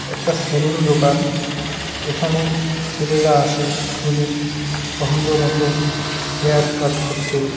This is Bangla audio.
একটা সেলুন দোকান এখানে ছেলেরা আসে নিজের পছন্দ মতো হেয়ার কাট করতে।